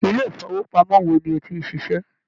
Ilé-ìfowópamọ́ wo ni o ti ń ṣiṣẹ́?